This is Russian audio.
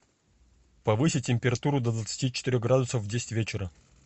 повысить температуру до двадцати четырех градусов в десять вечера